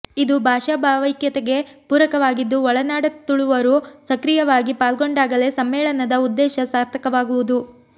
ಇದು ಭಾಷಾ ಭಾವೈಕ್ಯತೆಗೆ ಪೂರಕವಾಗಿದ್ದು ಒಳನಾಡ ತುಳುವರು ಸಕ್ರಿಯವಾಗಿ ಪಾಲ್ಗೊಂಡಾಗಲೇ ಸಮ್ಮೇಳನದ ಉದ್ದೇಶ ಸಾರ್ಥಕವಾಗುವುದು